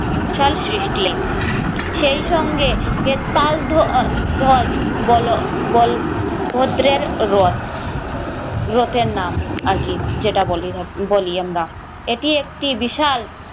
শাল সৃষ্টি সেই সঙ্গে এর পালদ্ধ বলো বল ভদ্রের রথ রথের নাম আর কি যেটা বলে বলি আমরা এটি একটি বিশাল